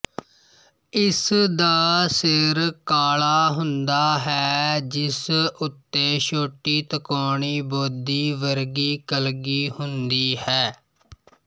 ਇਸ ਦਾ ਸਿਰ ਕਾਲਾ ਹੁੰਦਾ ਹੈ ਜਿਸ ਉੱਤੇ ਛੋਟੀ ਤਿਕੋਣੀ ਬੋਦੀ ਵਰਗੀ ਕਲਗੀ ਹੁੰਦੀ ਹੈ